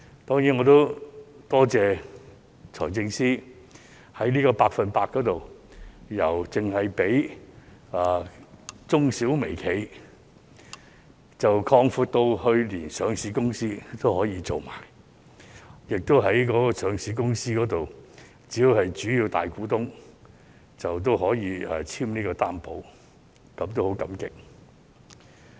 因此，我也要多謝財政司司長，在"百分百擔保特惠貸款"由最初只提供予中小微企，擴闊至上市公司也可以申請，而上市公司只要是主要大股東便可以簽署擔保，我就此十分感激。